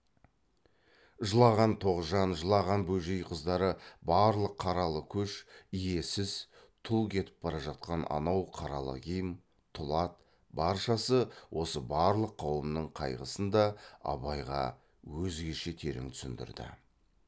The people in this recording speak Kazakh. жылаған тоғжан жылаған бөжей қыздары барлық қаралы көш иесіз тұл кетіп бара жатқан анау қаралы киім тұл ат баршасы осы барлық қауымның қайғысын да абайға өзгеше терең түсіндірді